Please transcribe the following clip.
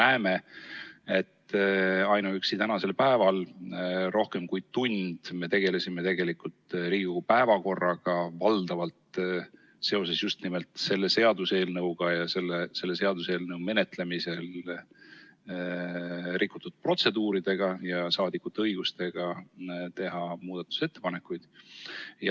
Me näeme, et ainuüksi tänasel päeval oleme rohkem kui tund aega tegelenud Riigikogu päevakorraga, valdavalt seoses just nimelt selle seaduseelnõuga ning selle seaduseelnõu menetlemisel rikutud protseduuridega ja rahvasaadikute õigusega teha muudatusettepanekuid.